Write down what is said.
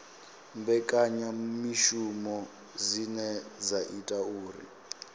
mbekanyamishumo dzine dza ita uri